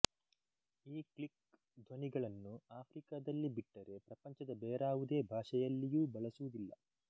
ಈ ಕ್ಲಿಕ್ ಧ್ವನಿಗಳನ್ನು ಆಫ್ರಿಕದಲ್ಲಿ ಬಿಟ್ಟರೆ ಪ್ರಪಂಚದ ಬೇರಾವುದೇ ಭಾಷೆಯಲ್ಲಿಯೂ ಬಳಸುವುದಿಲ್ಲ